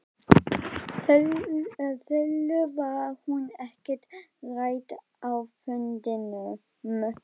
Þulur: Var hún ekkert rædd á fundinum?